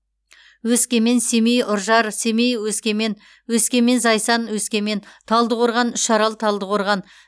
өскемен семей үржар семей өскемен өскемен зайсан өскемен талдықорған үшарал талдықорған